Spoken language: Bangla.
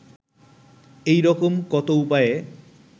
এইরকম কত উপায়ে